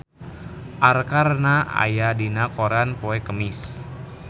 Arkarna aya dina koran poe Kemis